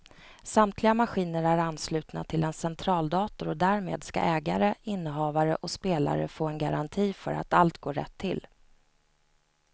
Samtliga maskiner är anslutna till en centraldator och därmed ska ägare, innehavare och spelare få en garanti för att allt går rätt till.